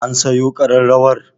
An siyo ƙararrawar?